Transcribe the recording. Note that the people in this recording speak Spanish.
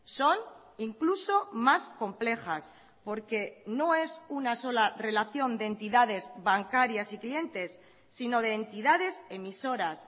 son incluso más complejas porque no es una sola relación de entidades bancarias y clientes sino de entidades emisoras